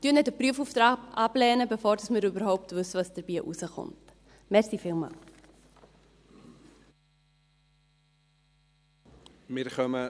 Lehnen Sie nicht den Prüfauftrag ab, bevor wir überhaupt wissen, was dabei herauskommen wird.